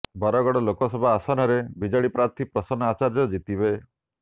ବରଗଡ଼ ଲୋକସଭା ଆସନରେ ବିଜେଡ଼ି ପ୍ରାର୍ଥୀ ପ୍ରସନ୍ନ ଆଚାର୍ଯ୍ୟ ଜିତିବେ